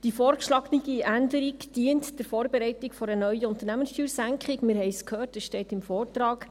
Die vorgeschlagene Änderung dient der Vorbereitung einer neuen Unternehmenssteuersenkung, wir haben es gehört, es steht im Vortrag.